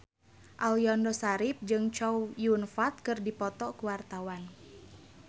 Aliando Syarif jeung Chow Yun Fat keur dipoto ku wartawan